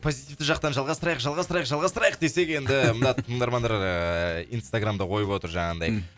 позитивті жақтан жалғастырайық жалғастырайық жалғастырайық десек енді мына тыңдармандар ыыы инстаграмда қойып отыр жаңағындай